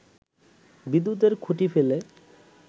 বিদ্যুতের খুঁটি ফেলে